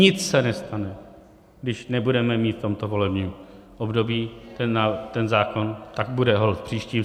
Nic se nestane, když nebudeme mít v tomto volebním období ten zákon, tak bude holt v příštím.